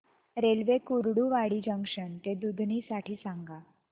railway Kurduwadi junction ते दुधनी साठी सांगा